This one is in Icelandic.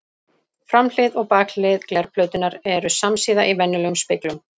Framhlið og bakhlið glerplötunnar eru samsíða í venjulegum speglum.